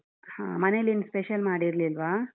ಹಾ ಮನೆಯಲ್ಲಿ ಏನೂ special ಮಾಡಿರರ್ಲಿಲ್ವಾ?